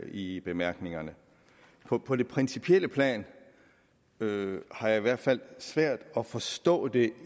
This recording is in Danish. i bemærkningerne på det principielle plan har jeg i hvert fald svært at forstå det